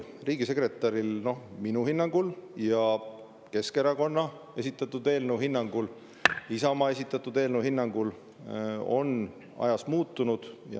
Riigisekretäri roll minu hinnangul ja Keskerakonna esitatud eelnõu kohaselt, Isamaa esitatud eelnõu kohaselt, on ajas muutunud.